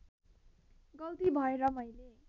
गल्ती भएर मैले